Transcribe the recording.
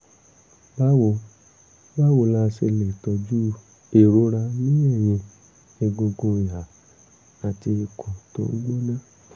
báwo báwo la ṣe lè tọ́jú ìrora ní ẹ̀yìn egungun ìhà àti ikùn tó ń gbóná?